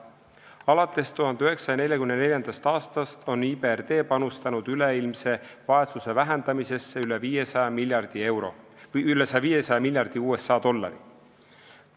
Alates 1944. aastast on IBRD panustanud üleilmse vaesuse vähendamisesse üle 500 miljardi USA dollari.